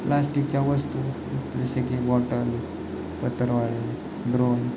plastic च्या वस्तु जसे की बॉटल पत्रावळ्या द्रोण --